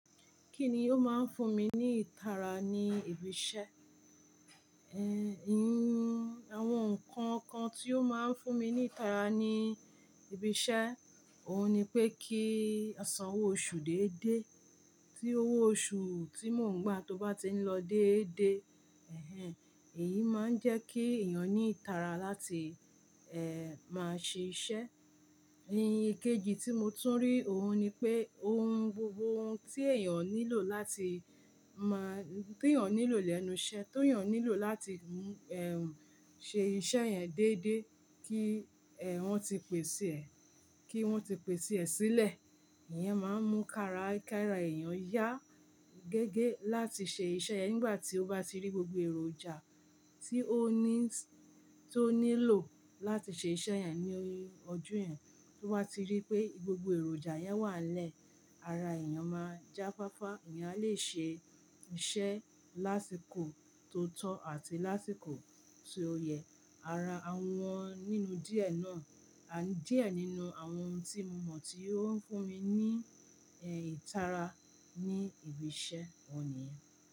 Kíni ó máa ń fún mi ní ìtara ní ibi iṣẹ́? Ehn, i- àwọn nǹkan kan tí ó máa ń fún mi ní ìtara ní ibi iṣẹ́, òhun ni pé kí a san owó oṣù déédéé, tí owó oṣù tí mò ń gbà tó bá ti ń lọ déédéé, ẹhẹ́n, èyí máa ń jẹ́ kí èèyàn ní ìtara láti máa ṣe iṣẹ́. Ikejì tí mo tún rí, òhun ni pé ohun gbogbo tí èèyàn nílò láti máa-- tí èèyàn nílò lẹ́nu iṣẹ́, ti èèyàn nílò láti ṣe iṣẹ́ yẹn déédéé kí, wọ́n ti pèsè ẹ́, kí wọ́n ti pèsè ẹ́ sílẹ̀. Ìyẹn máa ń mú kara- kara èèyàn yá gẹ́gẹ́ láti ṣe iṣẹ́ yẹn nígbà tí ó bá ti rí gbogbo èròjà tí ó ní s-- tí ó nílò láti ṣe iṣẹ́ yẹn ní ojú yẹn. Tó bá ti rí pé gbogbo èròjà yẹn wà n lẹ́ẹ̀, ara èèyàn máa jáfáfá, èèyàn a lè ṣe iṣẹ́ lásìkò tó tọ́ àti lásìkò ti ó yẹ. Ara àwọn nínú díẹ̀ náà, díẹ̀ nínú àwọn ohun tí mo mọ̀ tí ó ń fún mi ní, ìtara ní ibi iṣẹ́, òhun niyen.